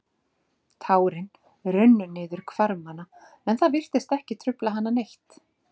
Tárin runnu niður hvarmana en það virtist ekki trufla hana neitt.